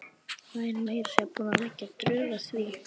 Væri meira að segja búin að leggja drög að því.